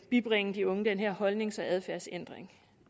bibringe de unge den her holdnings og adfærdsændring